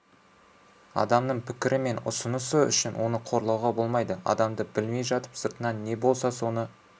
адамның пікірі мен ұсынысы үшін оны қорлауға болмайды адамды білмей жатып сыртынан не болса соны